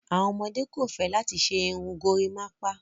Awọn ọmọde kò fẹ́ látì ṣè irùn górimápá.